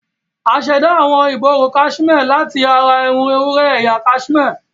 A ṣẹ̀dá awọn ìborùn kaṣimé láti ara irun ewúrẹ́ ẹ̀yà kaṣimé.